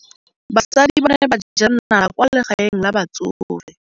Basadi ba ne ba jela nala kwaa legaeng la batsofe.